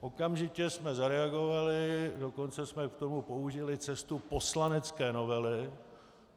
Okamžitě jsme zareagovali, dokonce jsme k tomu použili cestu poslanecké novely.